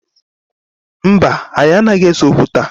Mba, anyị anaghị ese okwu taa